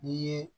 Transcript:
N'i ye